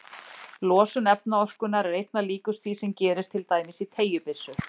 Losun efnaorkunnar er einna líkust því sem gerist til dæmis í teygjubyssu.